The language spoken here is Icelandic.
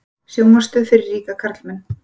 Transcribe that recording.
Sjónvarpsstöð fyrir ríka karlmenn